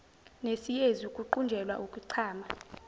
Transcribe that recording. nesiyezi ukuqunjelwa ukuchama